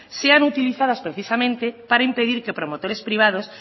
sean utilizadas precisamente para impedir que promotores privados